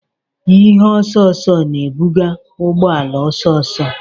Ihe osooso na-ebuga ụgbọ ala ọsọ ọsọ.